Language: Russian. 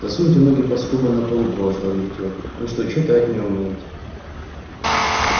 засуньте ноги под скобы на полу проворчал лифтёр вы что читать не умеете